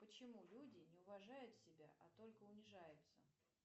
почему люди не уважают себя а только унижаются